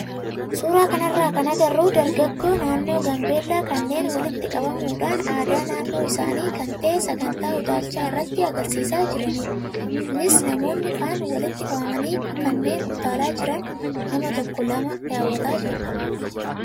Suuraa kanarraa kan agarru dargaggoo naannoo gaambeellaa kanneen walitti qabamuudhaan aadaa naannoo isaanii kan ta'e sagantaa utaalchaa irratti agarsiisaa jiranidha. Kunis namoonni kaan walitti qabamanii kanneen utaalaa jiran nama tokko lama daawwataa jiru.